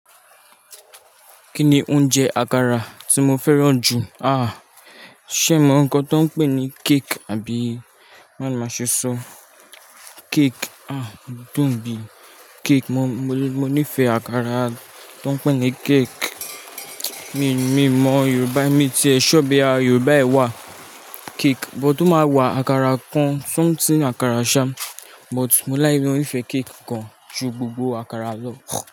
Kí ni oúnjẹ àkàrà tí mo fẹ́ràn jù? Ṣé mọ̀ nǹkan tó pè ní cake àbí? Máa ni máa ṣe sọ. Cake, odùn bí cake. Mo nífẹ̀ẹ́ àkàrà tó pẹ́ ní cake. Mi mọ Yorùbá, mí tí ẹ sure pe Yorùbá ẹ wà cake, but ó máa wà, àkàrà kan, something àkàrà sha. But mo ní o nífẹ̀ẹ́ cake kan n, ju gbogbo àkàrà lọ.